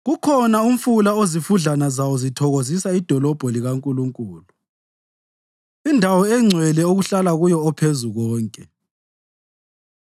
Kukhona umfula ozifudlana zawo zithokozisa idolobho likaNkulunkulu, indawo engcwele okuhlala kuyo oPhezukonke.